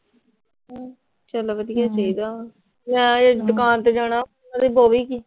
ਚਲੋ ਵਧੀਆ ਚਾਹੀਦਾ। ਮੈਂ ਹਜੇ ਦੁਕਾਨ ਤੇ ਜਾਣਾ।